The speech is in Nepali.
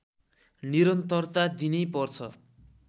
निरन्तरता दिनै पर्छ